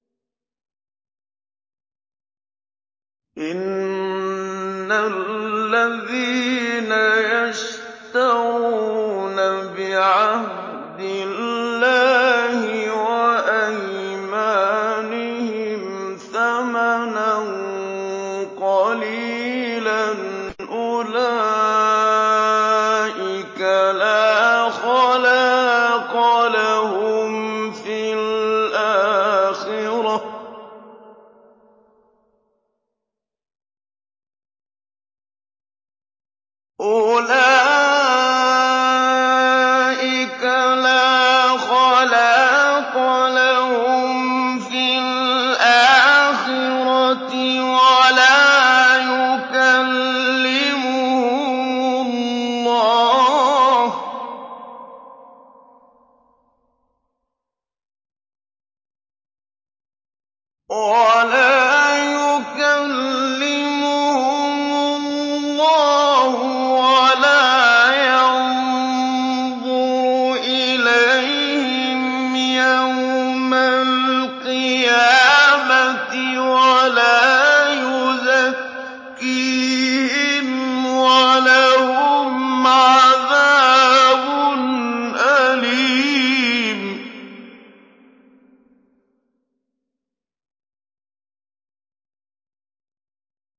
إِنَّ الَّذِينَ يَشْتَرُونَ بِعَهْدِ اللَّهِ وَأَيْمَانِهِمْ ثَمَنًا قَلِيلًا أُولَٰئِكَ لَا خَلَاقَ لَهُمْ فِي الْآخِرَةِ وَلَا يُكَلِّمُهُمُ اللَّهُ وَلَا يَنظُرُ إِلَيْهِمْ يَوْمَ الْقِيَامَةِ وَلَا يُزَكِّيهِمْ وَلَهُمْ عَذَابٌ أَلِيمٌ